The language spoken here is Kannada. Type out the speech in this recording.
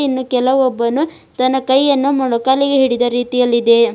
ಇನ್ನು ಕೆಲವೊಬ್ಬನು ತನ್ನ ಕೈಯನ್ನು ಮೊಣಕಾಲಿಗೆ ಹಿಡಿದ ರೀತಿಯಲ್ಲಿದೆ.